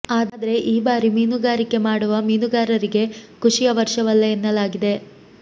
ಆದ್ರೆ ಈ ಬಾರಿ ಮೀನುಗಾರಿಕೆ ಮಾಡುವ ಮೀನುಗಾರರಿಗೆ ಖುಷಿಯ ವರ್ಷವಲ್ಲ ಎನ್ನಲಾಗಿದೆ